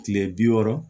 Kile bi wɔɔrɔ